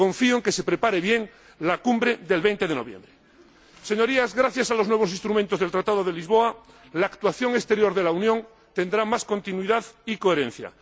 Confío en que se prepare bien la Cumbre del 20 de noviembre. Señorías, gracias a los nuevos instrumentos del Tratado de Lisboa, la actuación exterior de la Unión tendrá más continuidad y coherencia.